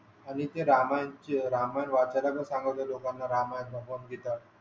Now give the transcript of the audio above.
आणि ते रामायण चे रामायण वाचण्याचे सांगत होते लोकाना रामायण आणि भगवत गीता